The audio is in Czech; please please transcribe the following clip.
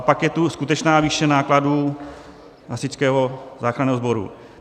A pak je tu skutečná výše nákladů Hasičského záchranného sboru.